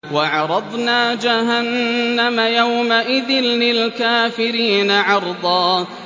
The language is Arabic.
وَعَرَضْنَا جَهَنَّمَ يَوْمَئِذٍ لِّلْكَافِرِينَ عَرْضًا